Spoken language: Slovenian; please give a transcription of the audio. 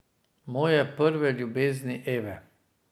Moje prve ljubezni Eve.